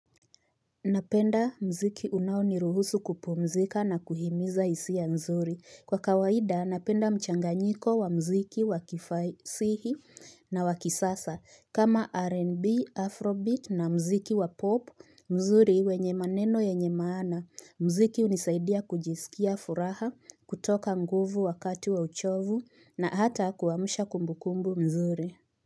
Napenda mziki unaoniruhusu kupumzika na kuhimiza isia mzuri. Kwa kawaida, napenda mchanganyiko wa mziki wakifasihi na wakisasa. Kama R&B, Afrobit na mziki wa popu, mzuri wenye maneno yenye maana. Mziki unisaidia kujisikia furaha, kutoka nguvu wakati wa uchovu na hata kuamsha kumbukumbu mzuri.